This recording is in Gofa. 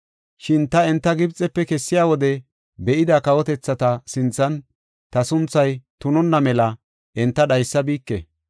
Shin ta enta Gibxefe kessiya wode be7ida kawotethata sinthan ta sunthay tunonna mela enta dhaysabike.